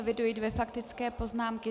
Eviduji dvě faktické poznámky.